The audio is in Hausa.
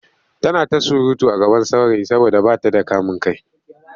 Tana ta surutu a gaban saurayi saboda ba ta da kamin kai.